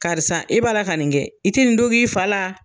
Karisa e b'a la ka nin kɛ, i tɛ nin dogo i fa la.